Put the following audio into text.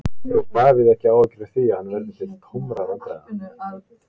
Hefur Davíð ekki áhyggjur af því að hann verði til tómra vandræða?